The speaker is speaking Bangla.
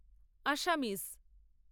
আসামিজ